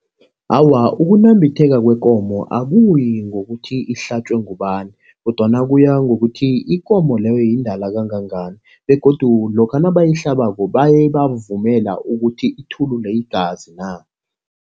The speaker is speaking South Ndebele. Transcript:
Awa, ukunambitheka kwekomo akuyi ngokuthi ihlatjwe ngubani kodwana kuya ngokuthi ikomo leyo yindala kangangani. Begodu lokha nabayihlabako baye bavumela ukuthi ithulule igazi na.